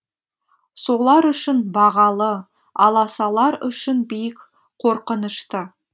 солар үшін бағалы аласалар үшін биік қорқынышты